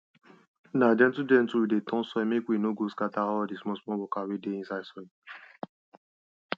na gentle gentle we dey turn soil mek we no go scatter all di smallsmall workers wey dey inside soil